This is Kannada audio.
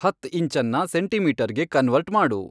ಹತ್ತ್ ಇಂಚನ್ನ ಸೆಂಟೀಮೀಟರ್ಗೆ ಕನ್ವರ್ಟ್ ಮಾಡು